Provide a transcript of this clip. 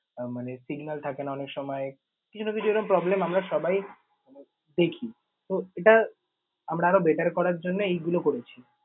আহ মানে signal থাকে না অনেক সময় কিছু না কিছু এরকম problem আমরা সবাই মানে দেখি। তো এটা আমরা আরও better করার জন্যে এইগুলো করেছি।